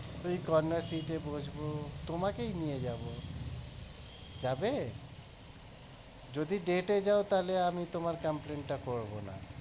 ওই corner seat এ বসবো তোমাকেই নিয়ে যাবো যাবে? যদি date এ যাও তাহলে আমি তোমার এই complaint টা করবোনা